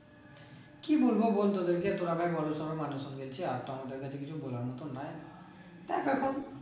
কি বলবো বল তোদেরকে তোরা ভাই বড়ো সরো মানুষ আর তো আমাদের কাছে কিছু বলার মতো নাই দেখ এখন